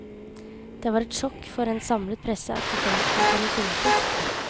Det var et sjokk for en samlet presse at giganten kunne synke.